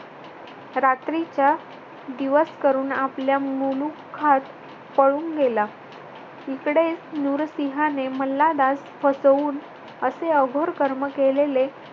रात्रीचा दिवस करून आपल्या मुलुखात पळून गेला. इकडे नुरसिंहाने मल्हारास फसवून असे अघोर कर्म केलेले